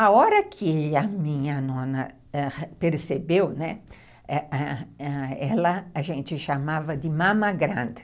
A hora que a minha nona percebeu, né, a gente chamava de mama grande.